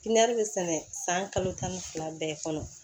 Pipiniyɛri bɛ sɛnɛ san kalo tan ni fila bɛɛ kɔnɔ